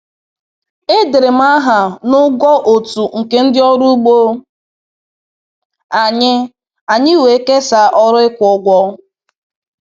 E dere m aha na ụgwọ otu nke ndị ọrụ ugbo anyị, anyị wee kesaa ọrụ ịkwụ ụgwọ.